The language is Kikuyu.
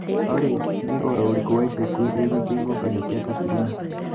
Olly nī ūhoro ūrikū wa ica ikuhī mūno wīgiī kihuhūkanio kia katrina